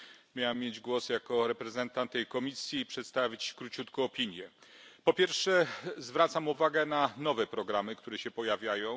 Miałem mieć głos jako reprezentant tej komisji i przedstawić króciutko opinię. Po pierwsze, zwracam uwagę na nowe programy, które się pojawiają.